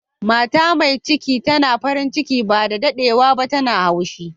Mata mai cikin na farin ciki ba da daddewa ba, yanzun tana haushi.